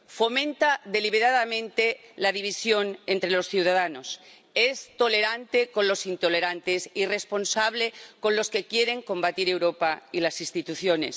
Fomenta deliberadamente la división entre los ciudadanos es tolerante con los intolerantes, irresponsable con los que quieren combatir Europa y las instituciones.